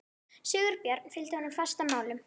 Sigurbjörn fylgdi honum fast að málum.